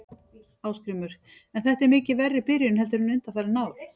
Ásgrímur: En er þetta mikið verri byrjun heldur en undanfarin ár?